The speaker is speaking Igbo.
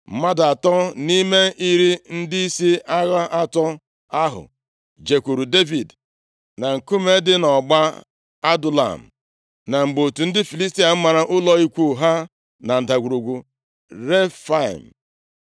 Mmadụ atọ nʼime iri ndịisi agha atọ ahụ jekwuru Devid na nkume dị nʼọgba Adulam, na mgbe otù ndị Filistia mara ụlọ ikwu ha na Ndagwurugwu Refaim.